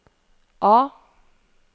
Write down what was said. A